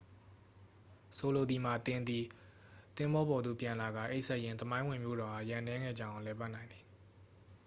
ဆိုလိုသည်မှာ သင်သည် သဘောၤပေါ်သို့ ပြန်လာကာ အိပ်စက်ရင်း သမိုင်းဝင်မြို့တော်အား ရက်အနည်းငယ်ကြာအောင် လည်ပတ်နိုင်သည်။